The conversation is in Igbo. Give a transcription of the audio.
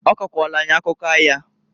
Ọ kọkwalụ anyị akụkọ aya.